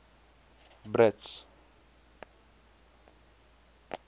brits